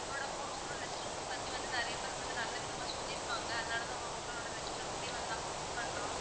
உங்களோட உங்களோட restaurant பத்தி வந்து நிறைய பேர் வந்து நல்லவிதமா சொல்லிருக்காங்க. அதனாலதான் உங்களோட restaurant க்கே நாங்க book பண்றோம்.